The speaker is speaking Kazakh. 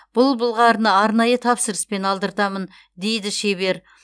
бұл былғарыны арнайы тапсырыспен алдыртамын дейді шебер